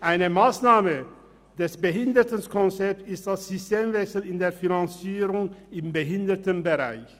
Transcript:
Eine Massnahme des Behindertenkonzepts ist der Systemwechsel in der Finanzierung im Behindertenbereich.